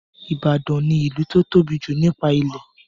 Ìbàdàn ní ìlú to tóbi jù nípa ilẹ̀.